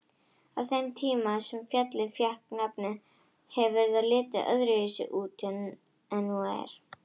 Á þeim tíma sem fjallið fékk nafnið hefur það litið öðruvísi út en nú er.